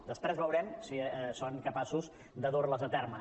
després veurem si són capaços de dur les a terme